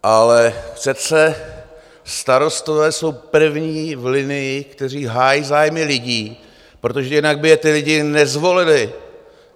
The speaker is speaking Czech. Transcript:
Ale přece starostové jsou první v linii, kteří hájí zájmy lidí, protože jinak by je ti lidi nezvolili.